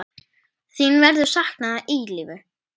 Þín verður saknað að eilífu.